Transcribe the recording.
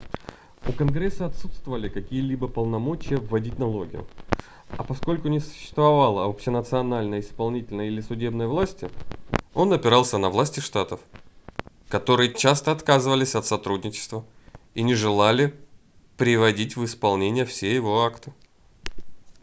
у конгресса отсутствовали какие-либо полномочия вводить налоги а поскольку не существовало общенациональной исполнительной или судебной власти он опирался на власти штатов которые часто отказывались от сотрудничества и не желали приводить в исполнение все его акты